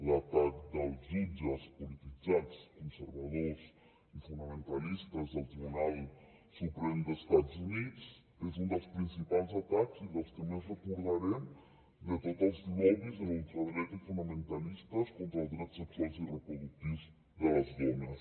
l’atac dels jutges polititzats conservadors i fonamentalistes del tribunal suprem dels estats units és un dels principals atacs i dels que més recordarem de tots els lobbys de la ultradreta i fonamentalistes contra els drets sexuals i reproductius de les dones